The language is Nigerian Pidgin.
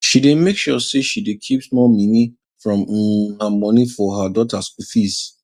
she dey make sure say she dey keep small mini from um her moni for her daughter school fees